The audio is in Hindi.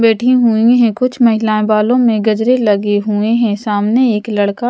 बैठी हुई हैं कुछ महिलाएं बालों में गजरे लगे हुए हैं सामने एक लड़का--